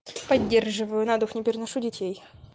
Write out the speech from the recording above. поддерживаю на дух не переношу детей